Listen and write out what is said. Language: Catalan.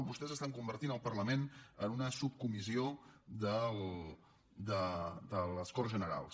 vostès estan convertint el parlament en una subcomissió de les corts generals